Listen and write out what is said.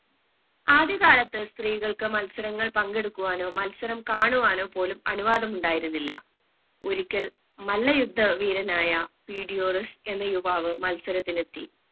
ആദ്യകാലത്ത് സ്ത്രീകൾക്ക് മത്സരങ്ങൾ പങ്കെടുക്കുവാനോ മത്സരം കാണുവാനോ പോലും അനുവാദമുണ്ടായിരുന്നില്ല ഒരിക്കൽ മല്ലയുദ്ധ വീരനായ പീഡിയോറസ് എന്ന യുവാവ് മത്സരത്തിനെത്തി